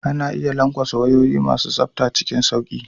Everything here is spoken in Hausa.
Ana iya lanƙwasa wayoyi masu tsafta cikin sauƙi.